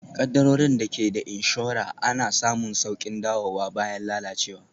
Kaddarorin da ke da inshora ana samun sauƙin dawowa bayan lalacewa